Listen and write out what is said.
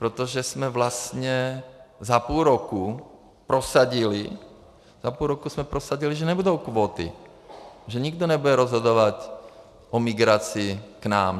Protože jsme vlastně za půl roku prosadili, že nebudou kvóty, že nikdo nebude rozhodovat o migraci k nám.